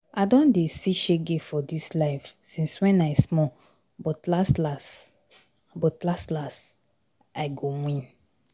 I don dey see shege for dis life since wen I small but las las, but las las, I go win.